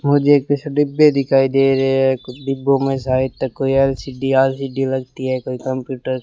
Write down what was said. मुझे कुछ डिब्बे दिखाई दे रहे हैं कुछ डिब्बों में शायद कोई एल_सी_डी आल सी_डी लगती है कोई कंप्यूटर --